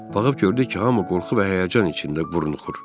Baxıb gördük ki, hamı qorxu və həyəcan içində burunuxur.